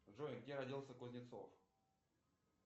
джой где родился кузнецов